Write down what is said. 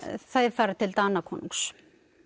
þær fara til Danakonungs